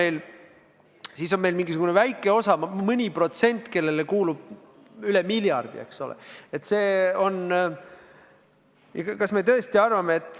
Ja selle kõrval on väike osa, mõni protsent, kellele kuulub üle miljardi, eks ole.